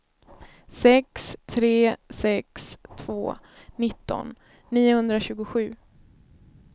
sex tre sex två nitton niohundratjugosju